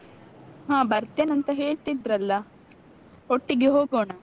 ಹ ಬರ್ತೇನಂತ ಹೇಳ್ತಿದ್ರಲ್ಲ ಒಟ್ಟಿಗೆ ಹೋಗೋಣ.